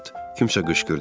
Bu vaxt kimsə qışqırdı.